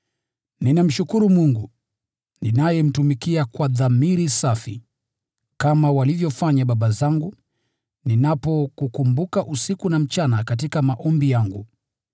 Ninamshukuru Mungu, ninayemtumikia kwa dhamiri safi, kama walivyofanya baba zangu, ninapokukumbuka usiku na mchana katika maombi yangu.